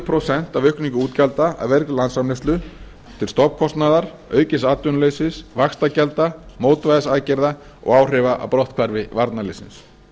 prósent af aukningu útgjalda af vergri landsframleiðslu til stofnkostnaðar aukins atvinnuleysis vaxtagjalda mótvægisaðgerða og áhrifa af brotthvarfi varnarliðsins